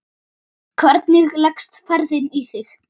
Hvernig leggst ferðin í þig?